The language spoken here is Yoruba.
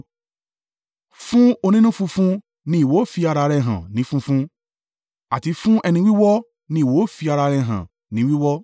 Fún onínú funfun ni ìwọ fi ara rẹ hàn ní funfun; àti fún ẹni wíwọ́ ni ìwọ ó fi ara rẹ hàn ní wíwọ́.